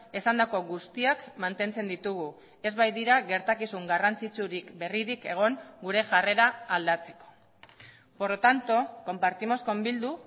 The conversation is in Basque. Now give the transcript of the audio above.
esandako guztiak mantentzen ditugu ez baitira gertakizun garrantzitsurik berririk egon gure jarrera aldatzeko por lo tanto compartimos con bildu